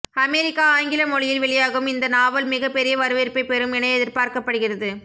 America ஆங்கில மொழியில் வெளியாகும் இந்த நாவல் மிகப்பெரிய வரவேற்பை பெறும் என எதிர்பார்க்கப்படுகிறது